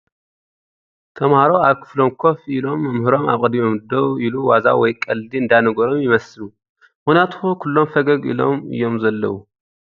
ተመሃሮ ኣብ ክፍሎም ከፍ ኢሎም መምህሮም ኣብ ቐድሚኦም ደው ኢሉ ዋዛ ወይ ቐልዲ እንዳነገሮም ይመስሉ፡ ምኽንያቱ ኩሎም ፈገግ እሎም እዮም ዘለዉ ።